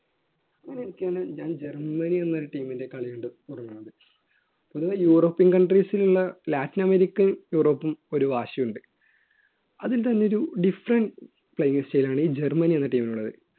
അങ്ങനെയിരിക്കയാണ് ഞാൻ ജർമ്മനി എന്നൊരു team ൻറെ കളി കണ്ടു തുടങ്ങുന്നത്. ഒടുവിൽ യൂറോപ്പ്യൻ countries ൽ ഉള്ള ലാറ്റിനമേരിക്കൻ യൂറോപ്പും ഒരു വാശിയുണ്ട് അതിൽ തന്നെ ഒരു different play style ആണ് ഈ ജർമനി എന്ന team നുള്ളത്